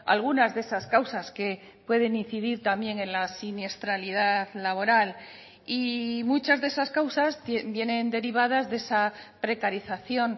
algunas de esas causas que pueden incidir también en la siniestralidad laboral y muchas de esas causas vienen derivadas de esa precarización